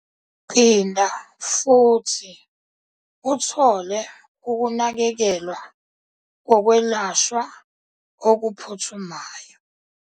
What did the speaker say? Phinda futhi uthole ukunakekelwa kokwelashwa okuphuthumayo